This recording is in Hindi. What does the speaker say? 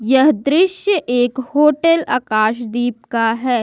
यह दृश्य एक होटल आकाशदीप का है।